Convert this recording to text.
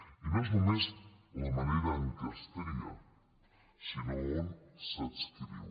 i no és només la manera en què es tria sinó on s’adscriu